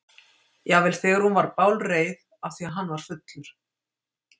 Jafnvel þegar hún var bálreið af því að hann var fullur.